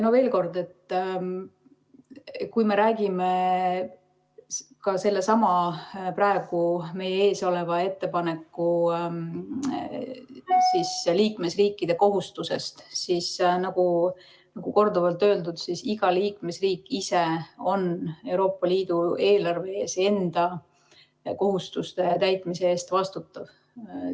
Veel kord: kui me räägime sellesama praegu meie ees oleva ettepaneku puhul liikmesriikide kohustusest, siis, nagu korduvalt öeldud, iga liikmesriik on ise Euroopa Liidu eelarve ees enda kohustuste täitmise eest vastutav.